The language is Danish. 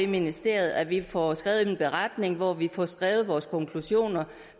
ministeriet at vi får skrevet en beretning hvor vi får skrevet vores konklusioner